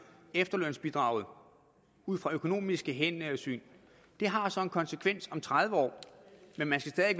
efterlønsbidraget ud fra økonomiske hensyn og det har så en konsekvens om tredive år men man skal